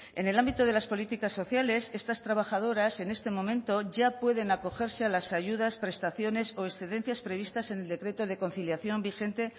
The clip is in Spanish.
en el ámbito de las políticas sociales estas trabajadoras en este momento ya pueden acogerse a las ayudas prestaciones o excedencias previstas en el decreto de conciliación vigente